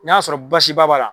N'a y'a sɔrɔ basiba b'a la.